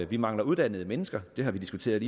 vi mangler uddannede mennesker det har vi diskuteret